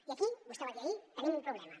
i aquí vostè ho va dir ahir tenim un problema